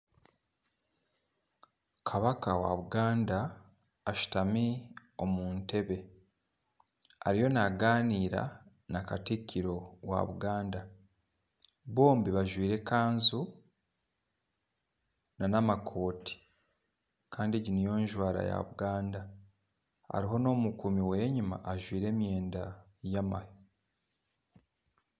Kabaaka wa Buganda ashutami omu ntebe ariyo nagaanira na katikiro wa buganda bombi bajwaire ekanju nana amakooti Kandi egi niyo njwara ya Buganda hariho n'omukuumi we enyuma ajwaire emyenda y'amahe